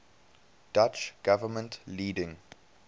dutch government leading